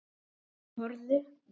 Þau horfðu.